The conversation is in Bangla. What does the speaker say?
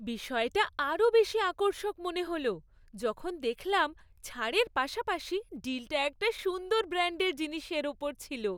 বিষয়টা আরও বেশি আকর্ষক মনে হল যখন দেখলাম ছাড়ের পাশাপাশি ডিলটা একটা সুন্দর ব্র্যাণ্ডের জিনিসের ওপর ছিল।